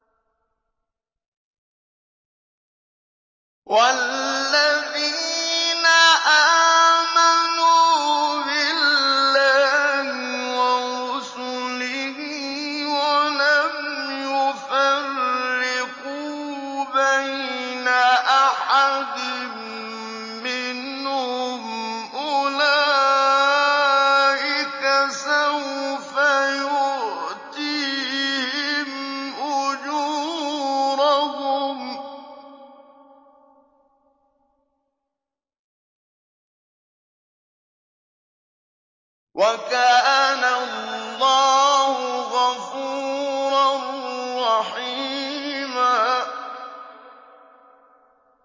وَالَّذِينَ آمَنُوا بِاللَّهِ وَرُسُلِهِ وَلَمْ يُفَرِّقُوا بَيْنَ أَحَدٍ مِّنْهُمْ أُولَٰئِكَ سَوْفَ يُؤْتِيهِمْ أُجُورَهُمْ ۗ وَكَانَ اللَّهُ غَفُورًا رَّحِيمًا